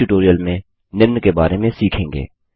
इस ट्यूटोरियल में निम्न के बारे में सीखेंगे